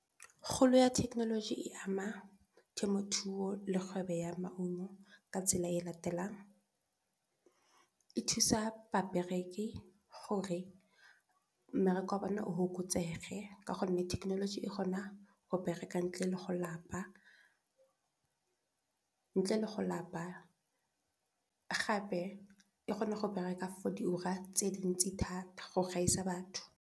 Kgolo ya thekenoloji e ama temothuo le kgwebo ya maungo ka tsela e latelang e thusa babereki gore mmereko wa bona ofokotsege ka gonne thekenoloji e kgonang go bereka ntle le go lapa gape e kgona go bereka for di ura tse dintsi thata go gaisa batho.